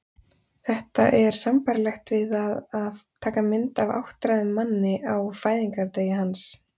Þetta er sambærilegt við það að taka mynd af áttræðum manni á fæðingardegi hans.